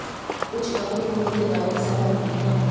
कुछ अपनी उम्र के बारे में सहमत नहीं हैं